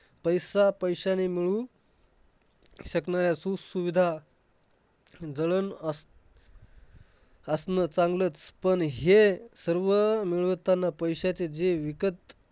पैसा पैशाने मिळून शकन्या असू सुविधा जळण असं असणं चांगलंच. पण हे सर्व मिळवताना पैशाचं जे विकत